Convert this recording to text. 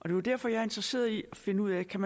er jo derfor jeg er interesseret i at finde ud af kan